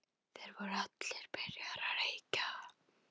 Þær voru allar byrjaðar að reykja.